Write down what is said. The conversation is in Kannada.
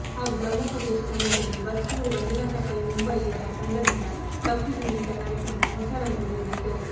ಹಾಗೂ ಬ್ರಹ್ಮೋಪದೇಶದ ಸಮಯದಲ್ಲಿ ಬಸ್ರೂರು ಮಂಜುನಾಥ ಪೈ ಮುಂಬಯಿ ಇವರ ತಂಡದಿಂದ ಭಕ್ತಿ ಸಂಗೀತ ಕಾರ್ಯಕ್ರಮ ಹೊಸ ರಂಗು ನೀಡಿತು